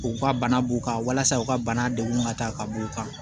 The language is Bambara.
U ka bana b'u kan walasa u ka bana degun ka taa ka b'u kan